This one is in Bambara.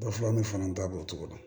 Dɔ fɔ an bɛ fana da b'o cogo la